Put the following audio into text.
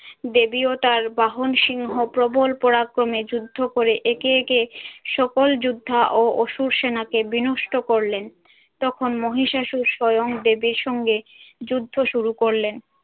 দেবী ও তার বাহন সিংহ প্রবল পরাক্রমে যুদ্ধ করে একে একে সকল যোদ্ধা ও অসুর সেনাকে বিনষ্ট করলেন। তখন মহিষাসুর স্বয়ং দেবীর সঙ্গে যুদ্ধ শুরু করলেন।